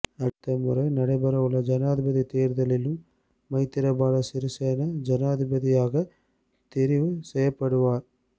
அடுத்த முறை நடைபெறவுள்ள ஜனாதிபதித் தேர்தலிலும் மைத்திரபால சிறிசேன ஜனாதிபதியாகத் தெரிவு செய்யப்படுவார்